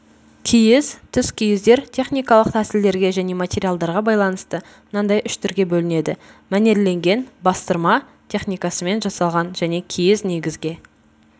киіз түскиіздер техникалық тәсілдерге және материалдарға байланысты мынандай үш түрге бөлінеді мәнерленген бастырма техникасымен жасалған және киіз негізге